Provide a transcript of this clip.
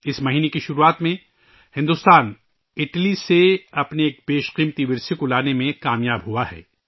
اس ماہ کے شروع میں بھارت اٹلی سے اپنے ایک قیمتی ورثے کو واپس لانے میں کامیاب رہا ہے